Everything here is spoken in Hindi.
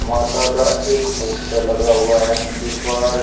माता का एक पोस्टर लगा हुआ है मंदिर पर।